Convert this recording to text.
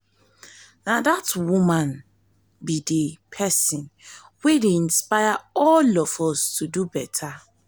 na dat woman be the the person wey dey inspire all of us to do beta